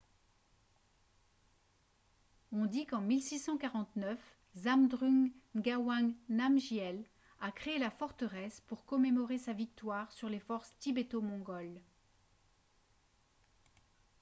on dit qu'en 1649 zhabdrung ngawang namgyel a créé la forteresse pour commémorer sa victoire sur les forces tibéto-mongoles